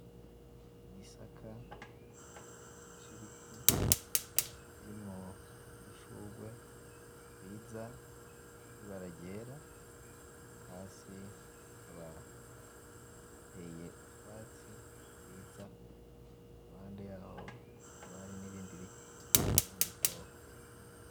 Igisaka cibiti kirimwo udushugwe twiza twibara ryera hasi hakaba hateye utwatsi twiza iruhande yaho hakaba hari nibindi biti vyubundi bwoko